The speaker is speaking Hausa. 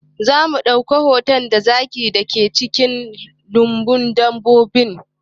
Za mu ɗau hoto da zakin da ke cikin lambun dabbobin